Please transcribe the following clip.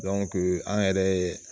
an yɛrɛ ye